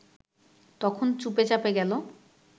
তখন চুপে চাপে গেল